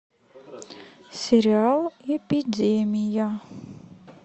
сериал эпидемия